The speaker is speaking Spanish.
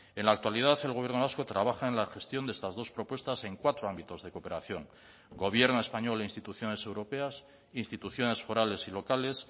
en la actualidad el gobierno vasco trabaja en la gestión de estas dos propuestas en cuatro ámbitos de cooperación gobierno español e instituciones europeas instituciones forales y locales